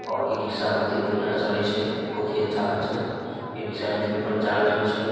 और इ-रिक्शा बहुत बढ़िया चले छै बहुत ही अच्छा होय छै इ-रिक्शा बिजली पर चार्ज होय छै।